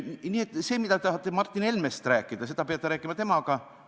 Nii et see, mida te tahate Martin Helmest rääkida, seda peate rääkima temaga.